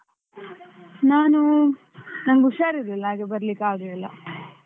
ನಾನು ನಂಗ್ ಹುಷಾರಿರ್ಲ್ಲಿಲ್ಲ, ಹಾಗೆ ಬರ್ಲಿಕ್ಕೆ ಆಗ್ಲಿಲ್ಲ.